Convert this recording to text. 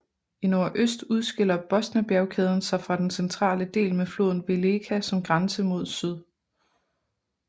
I nordøst udskiller Bosnabjergkæden sig fra den centrale del med floden Weleka som grænse mod syd